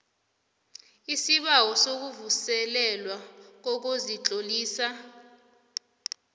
isibawo sokuvuselelwa kokuzitlolisa